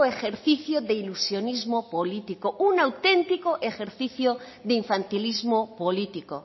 ejercicio de ilusionismo político un auténtico ejercicio de infantilismo político